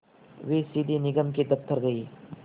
वे सीधे निगम के दफ़्तर गए